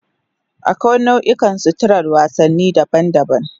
Akwai nau'ikan suturar wasanni daban-daban